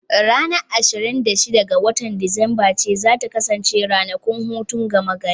Ranar ashirin da shida ga watan Disamba ce za ta kasance ranakun hutun gama gari.